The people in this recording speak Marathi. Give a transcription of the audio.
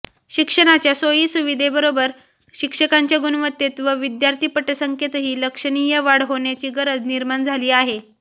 शिक्षणाच्या सोयीसुविधेबरोबर शिक्षकांच्या गुणवत्तेत व विद्यार्थी पटसंख्येतही लक्षणीय वाढ होण्याची गरज निर्माण झाली आहे